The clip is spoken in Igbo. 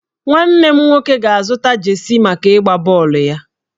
Nwanne m nwoke ga-azụta jeesi maka ịgba bọọlụ ya.